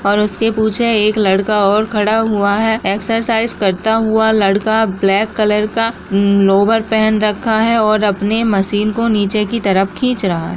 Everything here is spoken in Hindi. और उसके पीछे एक लड़का और खड़ा हुआ है। एक्सरसाइज करता हुआ लड़का ब्लैक कलर का उम्म लोअर पहन रखा है और अपनी मशीन को नीचे की तरफ खींच रहा है।